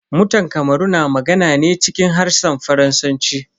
Mutan kamaru na magana ne cikin harshen Faransanci.